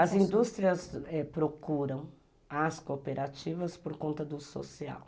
As indústrias procuram as cooperativas por conta do social.